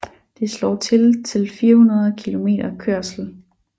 Det slår til til 400 km kørsel